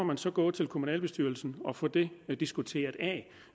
man så gå til kommunalbestyrelsen og få det diskuteret